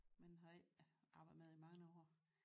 Men har ikke arbejdet med det i mange år